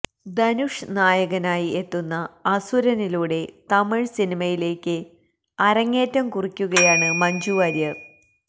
ധനുഷ് നായകനായി എത്തുന്ന അസുരനിലൂടെ തമിഴ്സിനിമയിലേക്ക് അരങ്ങേറ്റം കുറിക്കുകയാണ് മഞ്ജു വാര്യര്